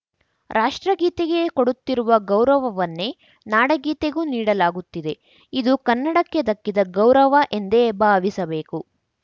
ರಾಷ್ಟ್ರಗೀತೆಗೆ ಕೊಡುತ್ತಿರುವ ಗೌರವವನ್ನೇ ನಾಡಗೀತೆಗೂ ನೀಡಲಾಗುತ್ತಿದೆ ಇದು ಕನ್ನಡಕ್ಕೆ ದಕ್ಕಿದ ಗೌರವ ಎಂದೇ ಭಾವಿಸಬೇಕು